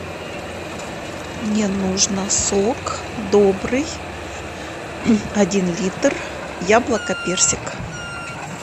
мне нужно сок добрый один литр яблоко персик